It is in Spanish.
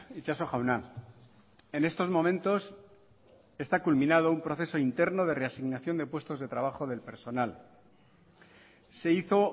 itxaso jauna en estos momentos está culminado un proceso interno de reasignación de puestos de trabajo del personal se hizo